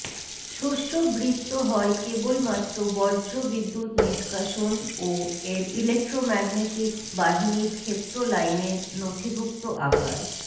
শস্য বৃত্ত হয় কেবলমাত্র বজ্রবিদ্যুত নিষ্কাশনও এর ইলেক্ট্রোম্যাগনেটিক বাহিনীর ক্ষেত্র লাইনের নথিভুক্ত আকার